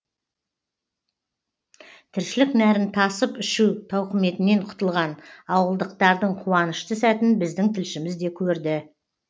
тіршілік нәрін тасып ішу тауқыметінен құтылған ауылдықтардың қуанышты сәтін біздің тілшіміз де көрді